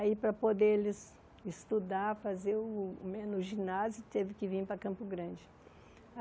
Aí para poder eles estudar, fazer o o ginásio, teve que vir para Campo Grande.